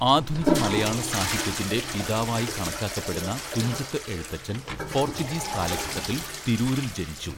ആധുനിക മലയാള സാഹിത്യത്തിന്‍റെ പിതാവായി കണക്കാക്കപ്പെടുന്ന തുഞ്ചത്ത് എഴുത്തച്ഛൻ പോർച്ചുഗീസ് കാലഘട്ടത്തിൽ തിരൂരിൽ ജനിച്ചു.